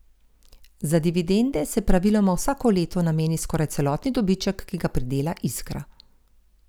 Za dividende se praviloma vsako leto nameni skoraj celotni dobiček, ki ga pridela Iskra.